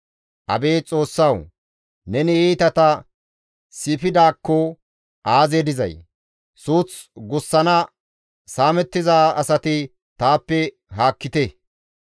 Abeet Xoossawu! Neni iitata siifidaakko aazee dizay! Suuth gussana saamettiza asati taappe haakkite!